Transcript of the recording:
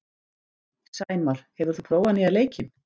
Sæmar, hefur þú prófað nýja leikinn?